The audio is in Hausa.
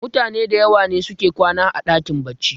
mutane da yawa ne suke kwana a dakin baccin